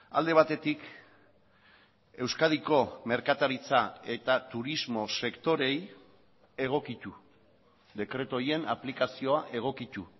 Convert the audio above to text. alde batetik euskadiko merkataritza eta turismo sektoreei egokitu dekretu horien aplikazioa egokitu